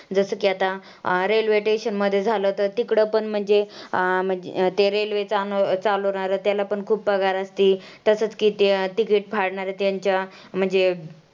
जसं की आता railway station मध्ये झालं तर तिकडं पण म्हणजे अं त्या railway चालवणारं त्याला पण खूप पगार असती, तसंच की ते ticket फाडणारे त्यांच्या म्हणजे